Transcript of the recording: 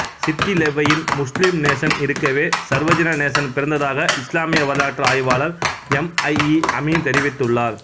சித்திலெவ்வையின் முஸ்லிம் நேசன் இருக்கவே சர்வஜன நேசன் பிறந்ததாக இஸ்லாமிய வரலாற்று ஆய்வாளர் எம் ஐ இ அமீன் தெரிவித்துள்ளார்